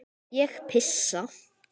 Ég pissa.